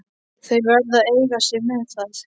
Þeir verða að eiga sig með það.